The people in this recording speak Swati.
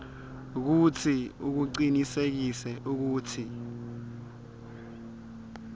kutsi ucinisekise kutsi